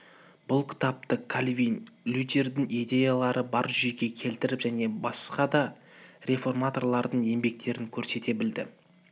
бұл кітапта кальвин лютердің идеяларын бір жүйеге келтіріп және баска да реформаторлардың еңбектерін көрсете білді